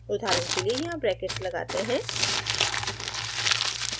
उदाहरण के लिए यहाँ ब्रैकेट्स लगाते हैं